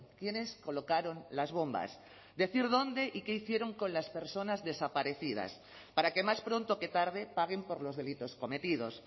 quiénes colocaron las bombas decir dónde y qué hicieron con las personas desaparecidas para que más pronto que tarde paguen por los delitos cometidos